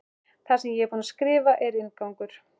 Það sem ég er búin að skrifa er inngangur.